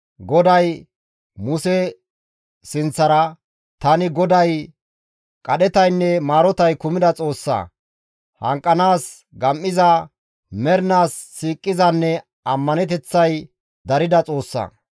GODAY Muse sinththara, «Tani GODAY qadhetaynne maarotay kumida Xoossa, hanqettanaas gam7iza, mernaas siiqizanne ammaneteththay darida Xoossa.